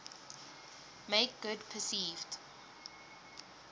make good perceived